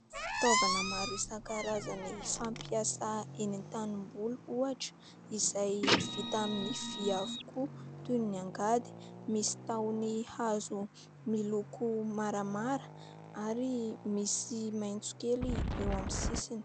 Fitaovana maro isan-karazany fampiasa eny an-tanimboly ohatra izay vita amin'ny vy avokoa toy ny angady, misy tahony hazo miloko maramara ary misy maitso kely eo amin'ny sisiny.